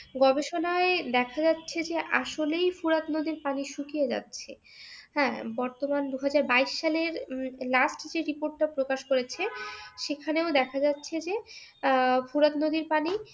গবেষনায় দেখা গেছে যে আসলেই ফোরাত নদীর পানি শুকিয়ে যাচ্ছে। হ্যাঁ বর্তমান দু'হাজার বাইশ সালের last যে report টা প্রকাশ করেছে সেখানেও দেখা যাচ্ছে যে আহ ফোরাত নদীর পানি